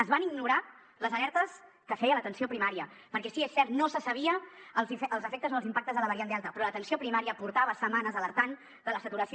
es van ignorar les alertes que feia l’atenció primària perquè sí és cert no se sabia els efectes o els impactes de la variant delta però l’atenció primària portava setmanes alertant de la saturació